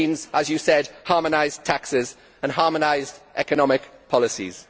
It means, as you said, harmonised taxes and harmonised economic policies.